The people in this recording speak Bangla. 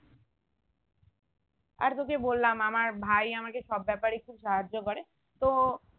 আর তোকে বললাম আমার ভাই আমাকে সব ব্যাপারে একটু সাহায্য করে তো